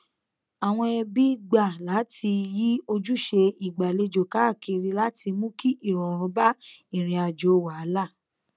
àwọn ẹbí gbà láti yí ojúṣe ìgbàlejò káàkiri láti mú kí ìrọrùn bá ìrìn àjò wàhálà